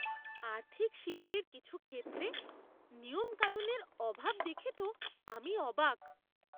আর্থিক শিল্পের কিছু ক্ষেত্রে নিয়মকানুনের অভাব দেখে তো আমি অবাক!